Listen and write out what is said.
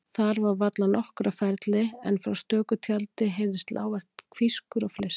Þar var varla nokkur á ferli en frá stöku tjaldi heyrðist lágvært hvískur og fliss.